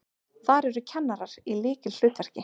Þar eru kennarar í lykilhlutverki.